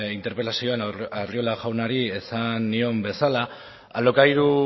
interpelazioan arriola jaunari esan nion bezala alokairu